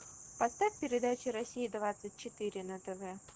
поставь передачу россия двадцать четыре на тв